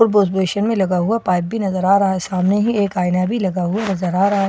और वॉशवेशिन में लगा हुआ पाइप भी नजर आ रहा है सामने ही एक आईना भी लगा नजर आ रहा है और --